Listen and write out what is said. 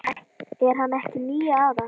Er hann ekki níu ára?